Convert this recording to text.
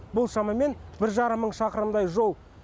бұл шамамен бір жарым мың шақырымдай жол